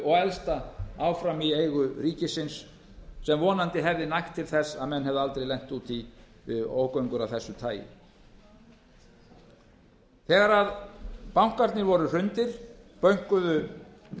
og elsta áfram í eigu ríkisins sem vonandi hefði nægt til þess að menn hefðu aldrei lent út í ógöngur af þessu tagi þegar bankarnir voru hrundir bönkuðu